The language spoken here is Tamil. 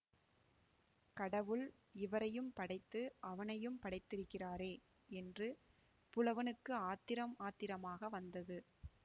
கடவுள் இவரையும் படைத்து அவனையும் படைத்திருக்கிறாரே என்று புலவனுக்கு ஆத்திரம் ஆத்திரமாக வந்தது